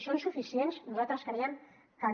són suficients nosaltres creiem que no